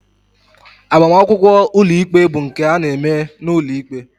Agbamakwụkwọ ụlọikpe bụ nke a na-eme n'ụlọikpe